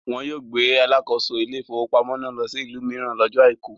Wọn yóò gbé alakoso ilé-ìfowópamọ́sí náà lọ sí ìlú mìíràn lọ́jọ́ àìkú.